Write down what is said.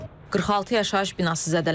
46 yaşayış binası zədələnib.